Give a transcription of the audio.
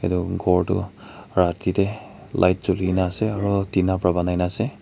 etu kour tu Rati te light cheli kini ase aru tina para bonai na ase.